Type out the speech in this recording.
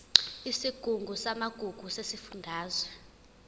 isigungu samagugu sesifundazwe